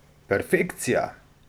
Perfekcija!